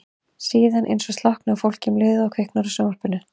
Síðan eins og slokkni á fólki um leið og kviknar á sjónvarpinu.